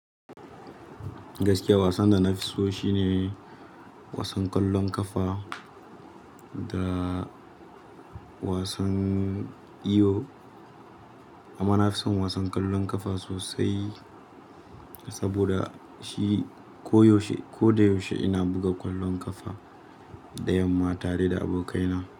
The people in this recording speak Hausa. Gaskiya wasan da na fi so shine wasan kwallon ƙafa da wasan iwo. Amma na fi son wasan kwallon ƙafa sosai saboda shi koyaushe, ko da yaushe ina buga ƙwallon ƙafa da yamma tare da abokaina.